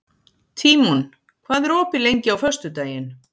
Tímon, hvað er opið lengi á föstudaginn?